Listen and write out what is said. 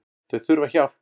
Þau þurfa hjálp